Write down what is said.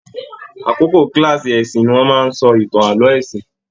Àkókò kilaasi ẹ̀sìn ní wọn máa n sọ ìtàn ààlọ́ ẹ̀sìn.